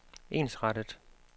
ensrettet